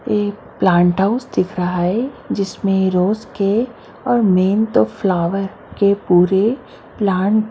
ये plant house दिख रहा है जिसमें रोज के और मेन तो फ्लावर के पूरे प्लांट --